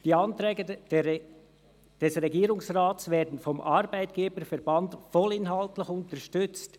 Die Anträge des Regierungsrates werden vom Arbeitgeberverband voll inhaltlich unterstützt.